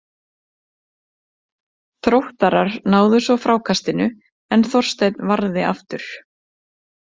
Þróttarar náðu svo frákastinu en Þorsteinn varði aftur.